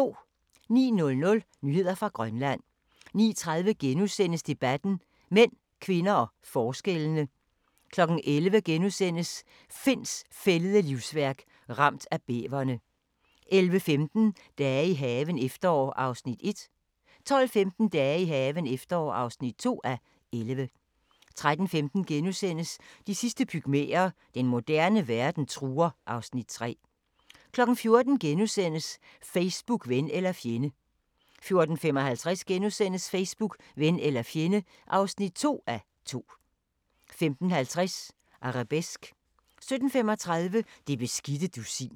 09:00: Nyheder fra Grønland 09:30: Debatten: Mænd, kvinder og forskellene * 11:00: Finds fældede livsværk – ramt af bæverne * 11:15: Dage i haven – efterår (1:11) 12:15: Dage i haven – efterår (2:11) 13:15: De sidste pygmæer: Den moderne verden truer (Afs. 3)* 14:00: Facebook – ven eller fjende * 14:55: Facebook – ven eller fjende (2:2)* 15:50: Arabesque 17:35: Det beskidte dusin